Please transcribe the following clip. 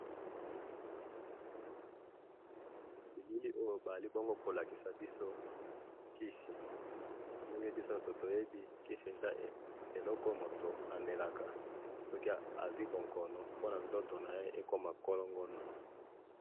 na bilili oyo bazali bongo ko lakisa biso kisi, ndenge biso nyoso toyebi, kisi eza eloko oyo moto amelaka soki azwi bonkono pona nzoto naye ekoma nkolongono